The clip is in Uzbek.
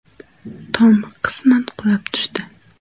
Tom qisman qulab tushdi.